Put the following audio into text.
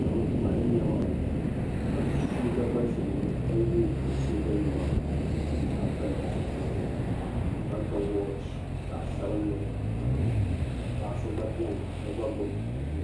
ni bɛ tuma ni nɛma ka sooja gba za ni ka ye o sooja nɛma ka pili di zupiligu ka ga wɔchi zaɣ' sabinli ka paɣ' so gba beni ka gba gbubi buku.